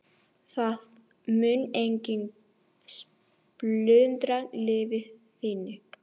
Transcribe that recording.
Það mun enginn splundra lífi þínu.